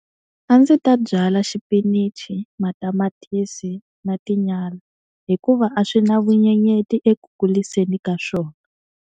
A ndzi ta byala xipinichi, matamatisi na tinyala hikuva a swi na vunyenyeti eku kuriseni ka swona.